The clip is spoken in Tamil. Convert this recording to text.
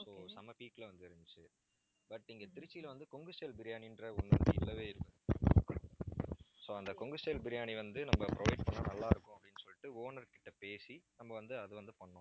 so செம peak ல வந்து இருந்துச்சு but இங்க திருச்சியில வந்து, கொங்கு stylebriyani ன்ற ஒண்ணு . so அந்த கொங்கு style பிரியாணி வந்து, நம்ம provide பண்ணா நல்லா இருக்கும் அப்படின்னு சொல்லிட்டு owner கிட்ட பேசி நம்ம வந்து, அது வந்து பண்ணோம்